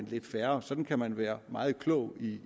lidt færre og sådan kan man være meget klog